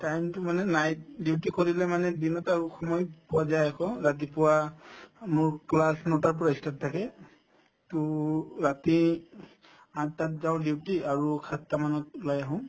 time তো মানে night duty কৰিলে মানে দিনত সময় পোৱা যায় আকৌ ৰাতিপুৱা মোৰ class নটাৰ পৰা ই start থাকে to ৰাতি আঠটাত যাওঁ duty আৰু সাতটা মানত ওলাই আহো